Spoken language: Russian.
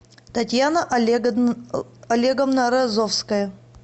татьяна олеговна разовская